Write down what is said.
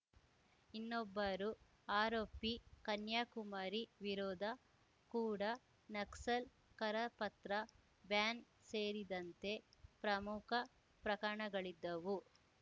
ಇನ್ನೊಬ್ಬರು ಆರೋಪಿ ಕನ್ಯಾಕುಮಾರಿ ವಿರೋದ ಕೂಡ ನಕ್ಸಲ್‌ ಕರಪತ್ರ ಬ್ಯಾನ್ ಸೇರಿದಂತೆ ಪ್ರಮಖ ಪ್ರಕರಣಗಳಿದ್ದವು